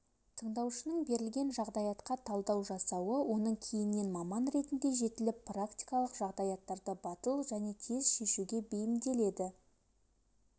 тыңдаушының берілген жағдаятқа талдау жасауы оның кейіннен маман ретінде жетіліп практикалық жағдаяттарды батыл және тез шешуге бейімделеді